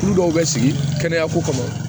Tulu dɔw bɛ sigi kɛnɛya ko kama